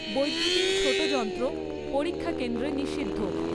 বৈদ্যুতিন ছোট যন্ত্র, পরীক্ষা কেন্দ্রে নিষিদ্ধ।